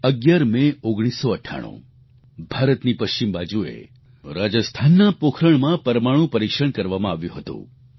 11 May 1998 ભારતની પશ્ચિમ બાજુએ રાજસ્થાનના પોખરણમાં પરમાણુ પરીક્ષણ કરવામાં આવ્યું હતું